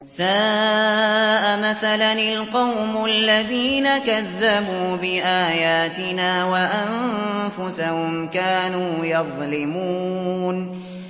سَاءَ مَثَلًا الْقَوْمُ الَّذِينَ كَذَّبُوا بِآيَاتِنَا وَأَنفُسَهُمْ كَانُوا يَظْلِمُونَ